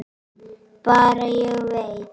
Bara: Ég veit.